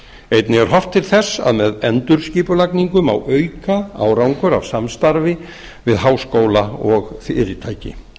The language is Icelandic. einnig er horft til þess að með endurskipulagningu má auka árangur af samstarfi við háskóla og fyrirtæki